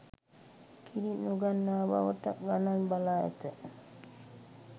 කිරි නොගන්නා බවට ගණන් බලා ඇත